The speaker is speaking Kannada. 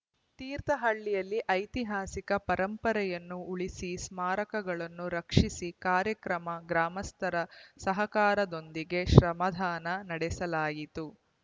ತೀರ್ಥಹಳ್ಳಿಯಲ್ಲಿ ಐತಿಹಾಸಿಕ ಪರಂಪರೆಯನ್ನು ಉಳಿಸಿ ಸ್ಮಾರಕಗಳನ್ನು ರಕ್ಷಿಸಿ ಕಾರ್ಯಕ್ರಮ ಗ್ರಾಮಸ್ಥರ ಸಹಕಾರದೊಂದಿಗೆ ಶ್ರಮದಾನ ನಡೆಸಲಾಯಿತು